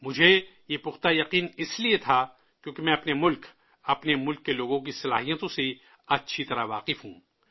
مجھے یہ پختہ یقین اس لیے تھا، کیوں کہ میں اپنے ملک، اپنے ملک کے لوگوں کی صلاحیتوں سے اچھی طرح واقف ہوں